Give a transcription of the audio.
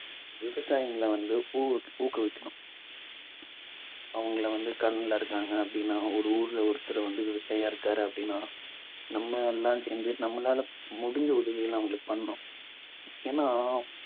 விவசாயிங்களை வந்து அவங்கள வந்து கடன்ல இருக்காங்க அப்பிடின்னா ஒரு ஊர்ல ஒருத்தர் வந்து விவசாயியா இருக்காரு அப்பிடின்னா நம்ம எல்லாம் சேர்ந்து நம்மளால முடிஞ்ச உதவிகளை அவங்களுக்கு பண்ணனும். ஏன்னா